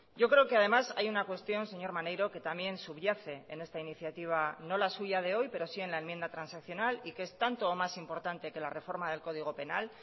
yo creo que además hay una cuestión señor maneiro que también subyace en esta iniciativa no la suya de hoy pero sí en la enmienda transaccional y que es tanto o más importante que la reforma del código penal